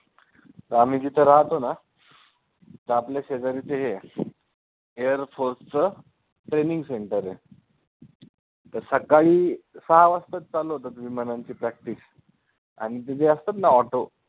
आम्ही जिथं राहतो ना तिथं आपल्या शेजारी ते air force चं training center आहे ते सकाळी सहा वाजताच चालू होतात विमानांची practice आणि ते जे असतात ना auto